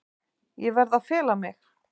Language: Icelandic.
Ég verð að fela mig.